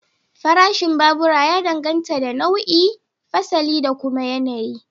Farashin babura ya danganta da nau'i, fasali da kuma yanayi.